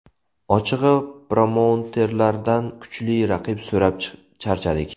Ochig‘i, promouterlardan kuchli raqib so‘rab charchadik.